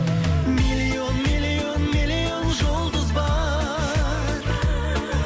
миллион миллион миллион жұлдыз бар